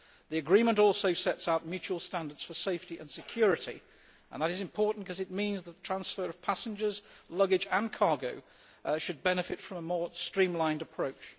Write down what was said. The agreement also sets out mutual standards for safety and security. And that is important because it means that the transfer of passengers, luggage and cargo should benefit from a more streamlined approach.